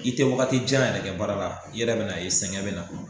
I te wagati jan yɛrɛ kɛn baara la , i yɛrɛ be n'a ye sɛgɛ bɛ na.